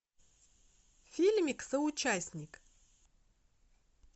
фильмик соучастник